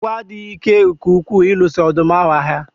Agwọ adịghị ike nke ukwuu ịlụso ọdụm ahu agha